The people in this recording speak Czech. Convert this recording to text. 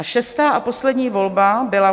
A šestá a poslední volba byla